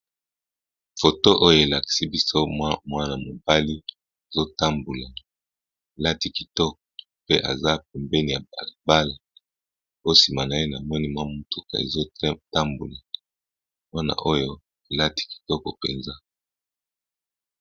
Foto oyo elakisi biso mwana mobali ezotambula lati kitoko pe eza pembeni ya balbal po nsima na ye na moni mwa mutuka ezotambula mwana oyo elati kitoko mpenza.